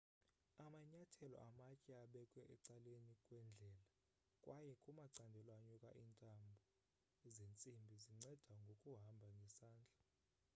amanyathelo amatye abekwe ecaleni kwendlela kwaye kumacandelo anyukayo iintambo zentsimbi zinceda ngokubamba ngesandla